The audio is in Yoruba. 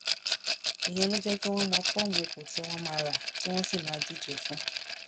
ìyẹn ló lè jẹ kí wọn mọ fọọmù ipò tí wọn máa rà tí wọn sì máa díje fún